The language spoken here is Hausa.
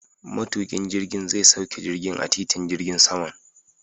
Matuƙin jirgin zai sauke jirgin a titin jirgin saman.